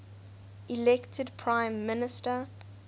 elected prime minister